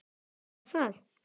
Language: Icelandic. Hvað var það?